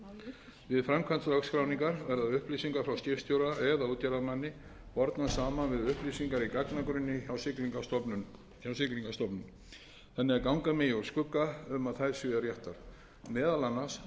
sinni við framkvæmd lögskráningar verða upplýsingar frá skipstjóra eða útgerðarmanni bornar saman við upplýsingar í gagnagrunni hjá siglingastofnun þannig að ganga megi úr skugga um að þær séu réttar meðal annars